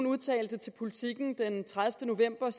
udtalte til politiken den tredivete november